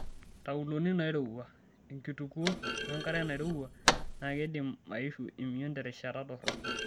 Ntauloni nairowua, enkitukuo wenkare nairowua naa keidim aishu emion terishata dorrop.